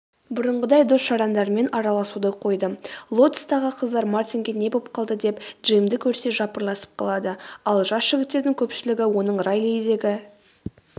бұрынғыдай дос-жарандарымен араласуды қойды лотостағы қыздар мартинге не боп қалды деп джимді көрсе жапырласып қалады ал жас жігіттердің көпшілігі оның райлидегі